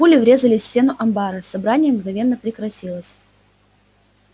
пули врезались в стенку амбара собрание мгновенно прекратилось